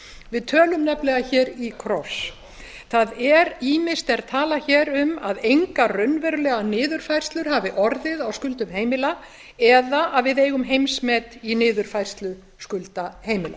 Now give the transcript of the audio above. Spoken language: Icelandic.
við tölum nefnilega í kross ýmist er talað hér um að engar raunverulegar niðurfærslur hafi orðið á skuldum heimila eða að við eigum heimsmet í niðurfærslu skulda heimila